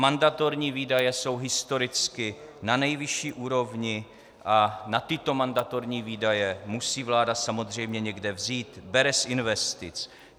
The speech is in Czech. Mandatorní výdaje jsou historicky na nejvyšší úrovni a na tyto mandatorní výdaje musí vláda samozřejmě někde vzít - bere z investic.